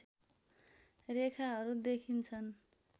रेखाहरू देखिन्छन्